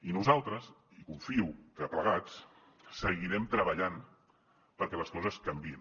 i nosaltres i confio que plegats seguirem treballant perquè les coses canviïn